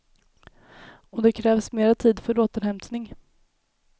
Och det krävs mera tid för återhämtning.